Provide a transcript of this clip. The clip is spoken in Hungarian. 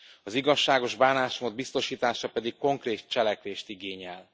Az igazságos bánásmód biztosítása pedig konkrét cselekvést igényel.